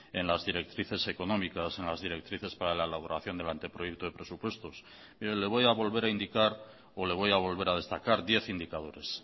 en las directrices económicas en las directrices para la elaboración del anteproyecto de presupuestos mire le voy a volver a indicar o le voy a volver a destacar diez indicadores